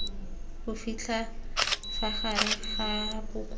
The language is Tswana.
bofitlha fa gare ga bokao